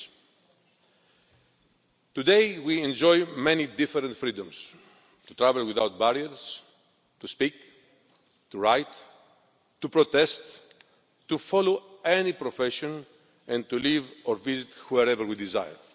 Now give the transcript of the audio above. regimes. Today we enjoy many different freedoms to travel without barriers, to speak, to write, to protest, to follow any profession and to live or visit wherever we desire.